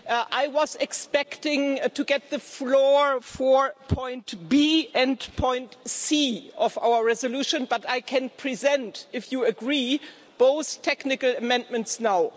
I was expecting to get the floor for Point B and Point C of our resolution but I can present, if you agree, both technical amendments now.